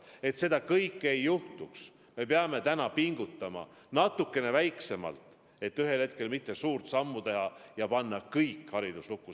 Et seda kõike ei juhtuks, me peame täna pingutama, esialgu natuke vähem, et ühel hetkel mitte suurt sammu teha ja panna kogu haridus lukku.